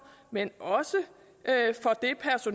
men også